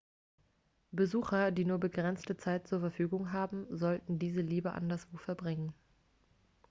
besucher die nur begrenzte zeit zur verfügung haben sollten diese lieber anderswo verbringen